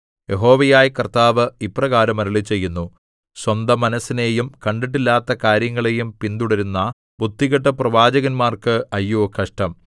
യഹോവയായ കർത്താവ് ഇപ്രകാരം അരുളിച്ചെയ്യുന്നു സ്വന്തമനസ്സിനെയും കണ്ടിട്ടില്ലാത്ത കാര്യങ്ങളെയും പിന്തുടരുന്ന ബുദ്ധികെട്ട പ്രവാചകന്മാർക്ക് അയ്യോ കഷ്ടം